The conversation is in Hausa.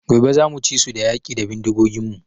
Gobe zamu ci su da yaƙi da bindigogin mu